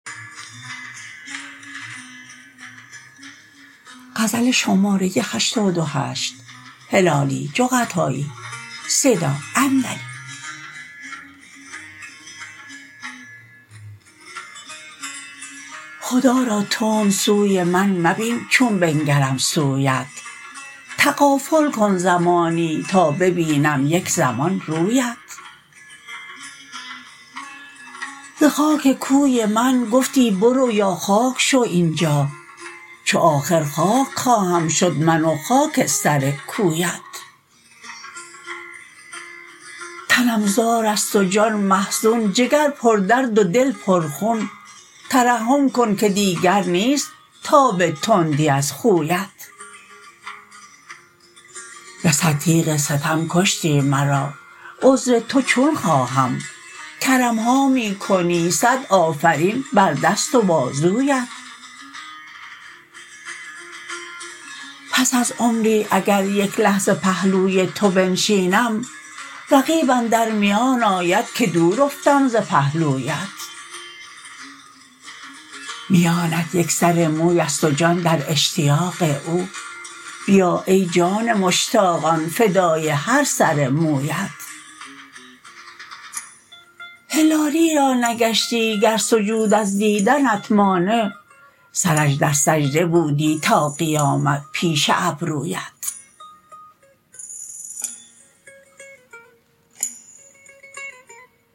خدا را تند سوی من مبین چون بنگرم سویت تغافل کن زمانی تا ببینم یک زمان رویت ز خاک کوی من گفتی برو یا خاک شو اینجا چو آخر خاک خواهم شد من و خاک سر کویت تنم زارست و جان محزون جگر پر درد و دل پر خون ترحم کن که دیگر نیست تاب تندی از خویت بصد تیغ ستم کشتی مرا عذر تو چون خواهم کرمها میکنی صد آفرین بر دست و بازویت پس از عمری اگر یک لحظه پهلوی تو بنشینم رقیب اندر میان آید که دور افتم ز پهلویت میانت یکسر مویست و جان در اشتیاق او بیا ای جان مشتاقان فدای هر سر مویت هلالی را نگشتی گر سجود از دیدنت مانع سرش در سجده بودی تا قیامت پیش ابرویت